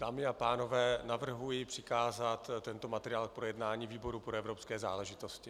Dámy a pánové, navrhuji přikázat tento materiál k projednání výboru pro evropské záležitosti.